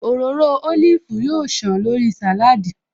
Òróró ólífì yóò ṣàn lórí sàláádì